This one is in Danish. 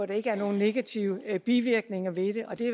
der ikke er nogen negative bivirkninger ved det